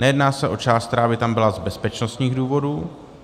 Nejedná se o část, která by tam byla z bezpečnostních důvodů.